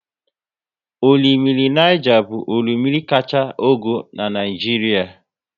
Orimmiri Niger bụ orimmiri kachaa ogo n'Naijiria